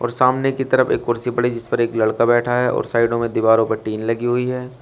सामने की तरफ एक कुर्सी पड़ी है जिस पर एक लड़का बैठा है और साइडों में दीवारों पे टीन लगी हुई है।